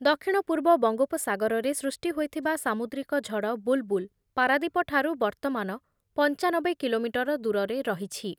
ଦକ୍ଷିଣ-ପୂର୍ବ ବଙ୍ଗୋପସାଗରରେ ସୃଷ୍ଟି ହୋଇଥିବା ସାମୁଦ୍ରିକ ଝଡ଼ ବୁଲ୍ ବୁଲ୍ ପାରାଦୀପ ଠାରୁ ବର୍ତ୍ତମାନ ପଞ୍ଚାନବେ କିଲୋମିଟର ଦୂରରେ ରହିଛି।